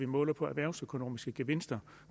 måles på erhvervsøkonomiske gevinster